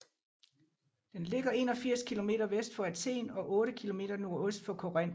Den ligger 81 km vest for Athen og 8 km nordøst for Korinth